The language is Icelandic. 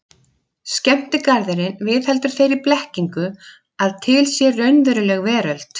Skemmtigarðurinn viðheldur þeirri blekkingu að til sé raunveruleg veröld.